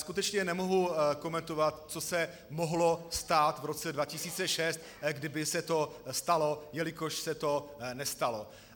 Skutečně nemohu komentovat, co se mohlo stát v roce 2006, kdyby se to stalo, jelikož se to nestalo.